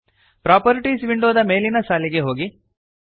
properties ವಿಂಡೋದ ಮೇಲಿನ ಸಾಲಿಗೆ ಹೋಗಿರಿ